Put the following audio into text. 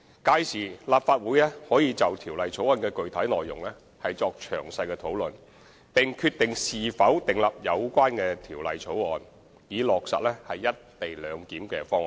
屆時，立法會可就條例草案的具體內容作詳細討論，並決定是否通過有關的條例草案，以落實"一地兩檢"方案。